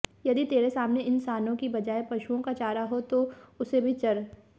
यदि तेरे सामने इनसानों की बजाय पशुओं का चारा हो तो उसे भी चर